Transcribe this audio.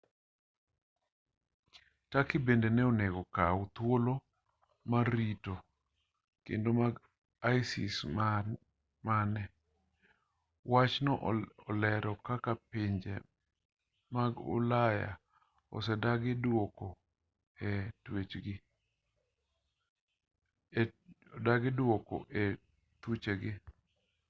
turkey bende ne onego okaw thuolo mar rito jokedo mag isis mane wachno olero kaka pinje mag ulaya osedagi duoko e thuchegi